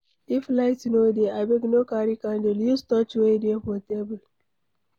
If light no dey, abeg no carry candle, use torch wey dey for table